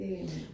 Det